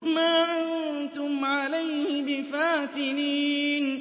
مَا أَنتُمْ عَلَيْهِ بِفَاتِنِينَ